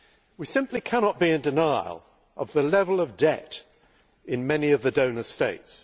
We simply cannot be in denial about the level of debt in many of the donor states.